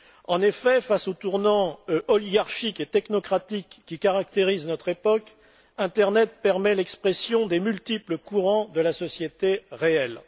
En effet, face au tournant oligarchique et technocratique qui caractérise notre époque, l'internet permet l'expression des multiples courants de la société réelle.